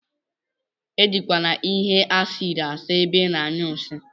Ejikwana ihe acidi asa ebe ina anyụ nsi.